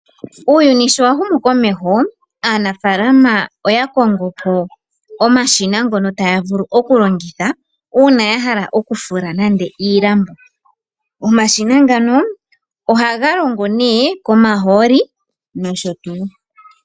Uuyuni sho wa humu komeho aanafaalama oya kongo po omashina ngono taya vulu okulongitha uuna ya hala okufula nande iilambo. Omashina ngano ohaga longo nduno komahooli nosho tuu.